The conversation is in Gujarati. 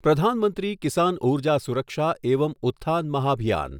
પ્રધાન મંત્રી કિસાન ઉર્જા સુરક્ષા એવમ ઉત્થાન મહાભિયાન